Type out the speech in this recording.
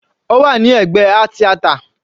Ó wà ní ẹ̀gbẹ́ art theater.